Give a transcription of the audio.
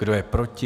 Kdo je proti?